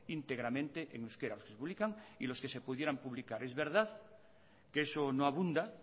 íntegramente en euskera que se publican y los que se pudieran publicar es verdad que eso no abunda